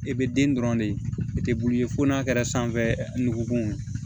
I bɛ den dɔrɔn de i tɛ bulu ye fo n'a kɛra sanfɛ nugukun ye